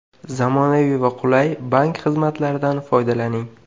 Zamonaviy va qulay bank xizmatlaridan foydalaning!